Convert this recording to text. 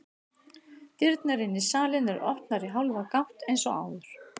Dyrnar inn í salinn eru opnar í hálfa gátt eins og áður.